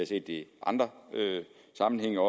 set det i andre sammenhænge og